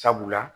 Sabula